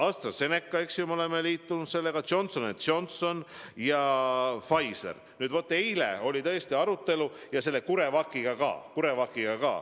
AstraZeneca, eks ju, me oleme liitunud sellega, Johnson & Johnson ja Pfizer, alles eile oli tõesti arutelu, ja CureVaciga ka.